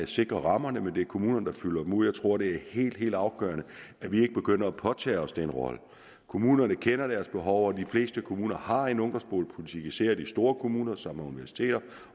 sikrer rammerne men det er kommunerne der fylder dem ud jeg tror det er helt helt afgørende at vi ikke begynder at påtage os den rolle kommunerne kender deres behov og de fleste kommuner har en ungdomsboligpolitik især de store kommuner som har universiteter